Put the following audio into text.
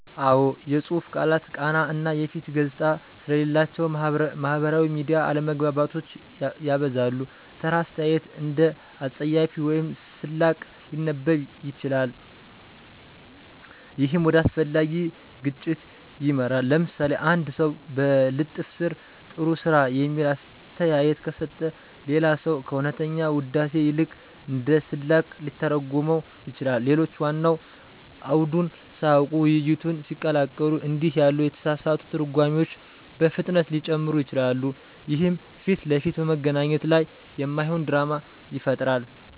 አዎ፣ የጽሁፍ ቃላት ቃና እና የፊት ገጽታ ስለሌላቸው ማህበራዊ ሚዲያ አለመግባባቶችን ያበዛል። ተራ አስተያየት እንደ አፀያፊ ወይም ስላቅ ሊነበብ ይችላል፣ ይህም ወደ አላስፈላጊ ግጭት ይመራል። ለምሳሌ፣ አንድ ሰው በልጥፍ ስር “ጥሩ ስራ” የሚል አስተያየት ከሰጠ፣ ሌላ ሰው ከእውነተኛ ውዳሴ ይልቅ እንደ ስላቅ ሊተረጉመው ይችላል። ሌሎች ዋናውን አውድን ሳያውቁ ውይይቱን ሲቀላቀሉ እንዲህ ያሉ የተሳሳቱ ትርጓሜዎች በፍጥነት ሊጨምሩ ይችላሉ፣ ይህም ፊት ለፊት በመገናኘት ላይ የማይሆን ድራማ ይፈጥራል።